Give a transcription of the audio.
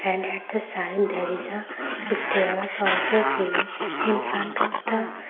and at the sign there is a stairs also seen in front of the --